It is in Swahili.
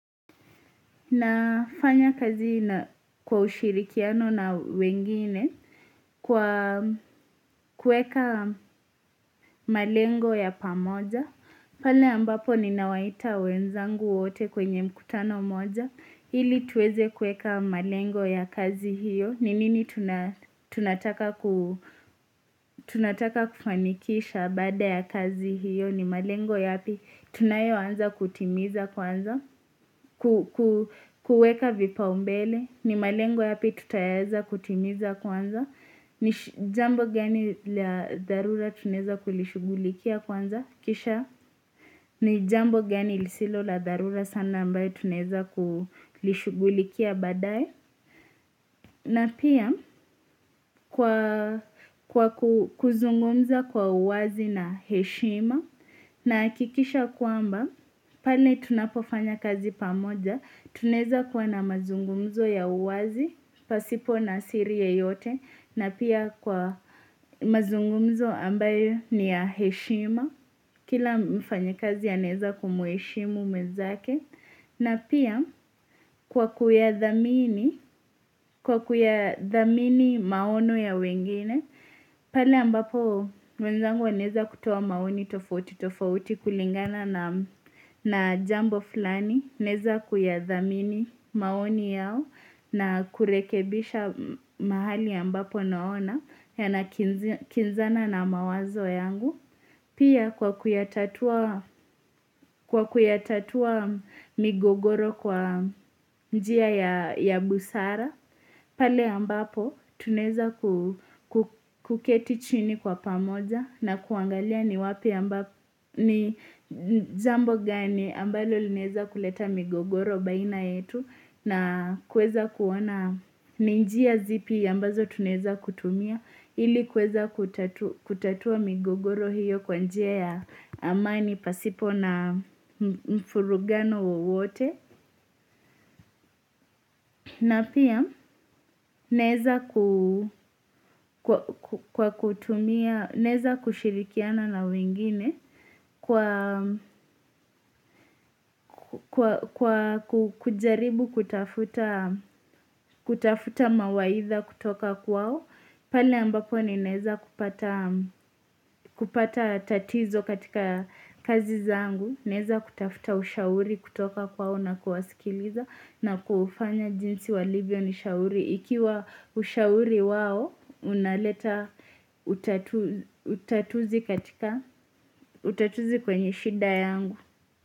Nafanya kazi kwa ushirikiano na wengine kwa kuweka malengo ya pamoja pale ambapo ninawaita wenzangu wote kwenye mkutano moja ili tuweze kuweka malengo ya kazi hiyo, ni nini tunataka kufanikisha baada ya kazi hiyo, ni malengo yapi Tunayoanza kutimiza kwanza kuweka vipaumbele, ni malengo yapi tutaweza kutimiza kwanza, ni jambo gani la dharura tunaweza kulishughulikia kwanza, Kisha ni jambo gani lisilo la dharura sana ambalo tunaweza kulishughulikia baadaye na pia kwa kuzungumza kwa uwazi na heshima nahakikisha kwamba pale tunapofanya kazi pamoja, tunaweza kuwa na mazungumzo ya uwazi pasipo na siri yoyote na pia kwa mazungumzo ambayo ni ya heshima Kila mfanyakazi anaweza kumheshimu mwezake na pia kwa kuyadhamini dhamini maono ya wengine pale ambapo mwenzangu anaweza kutoa maoni tofauti tofauti kulingana na jambo fulani Naweza kuyathamini maoni yao na kurekebisha mahali ambapo naona yanakinzana na mawazo yangu Pia kwa kutatua migogoro kwa njia ya busara pale ambapo tunaweza kuketi chini kwa pamoja na kuangalia ni wapi ambapo jambo gani ambalo linaweza kuleta migogoro baina yetu na kuweza kuona ni njia zipi ambazo tunaweza kutumia ili kuweza kutatua migogoro hiyo kwa njia ya amani pasipo na mvurugano wowote na pia naweza kushirikiana na wengine kwa kujaribu kutafuta mawaidha kutoka kwao. Pali ambapo ninaweza kupata tatizo katika kazi zangu. Naweza kutafuta ushauri kutoka kwao na kuwasikiliza na kufanya jinsi walivyo nishauri. Ikiwa ushauri wao, unaleta utatuzi kwenye shida yangu.